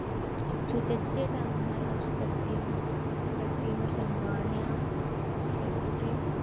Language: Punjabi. ਸੁਚੱਜੇ ਢੰਗ ਨਾਲ ਉਸ ਗੱਦੀ ਨੂੰ ਗੱਦੀ ਨੂੰ ਸਨਮਾਨਿਆ ਉਸ ਗੱਦੀ ਤੇ